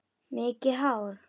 Mikið hár?